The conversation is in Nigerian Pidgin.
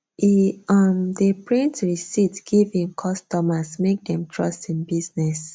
e um dey print receipt give him customers make dem trust him business